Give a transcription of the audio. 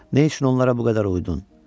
Nə üçün onlara bu qədər uydun?